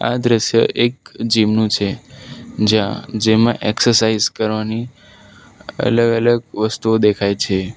આ દ્રશ્ય એક જીમનું છે જ્યાં જેમાં એક્સરસાઇઝ કરવાની અલગ અલગ વસ્તુઓ દેખાય છે.